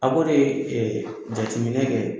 A ko de ee jateminɛ kɛ.